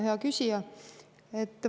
Hea küsija!